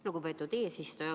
Lugupeetud eesistuja!